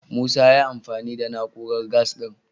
Musa ya yi amfani da na'urar gas ɗin.